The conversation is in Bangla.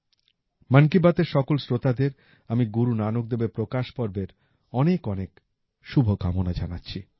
মন কী বাতের সকল শ্রোতাদের আমি গুরু নানক দেবের প্রকাশ পর্বের অনেক অনেক শুভকামনা জানাচ্ছি